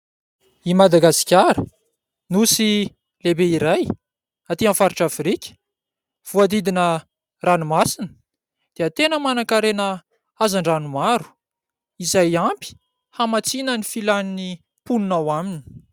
I Madagasikara, Nosy lehibe iray aty amin'ny faritra Afrika, voadidona ranomasina, dia tena manan-karena hazan-drano maro izay ampy hamatsiana ny filan'ny mponina ao aminy.